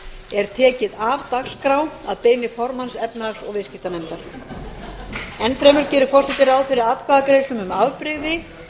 er tekið af dagskrá að beiðni formanns efnahags og viðskiptanefndar enn fremur gerir forseti ráð fyrir atkvæðagreiðslum um afbrigði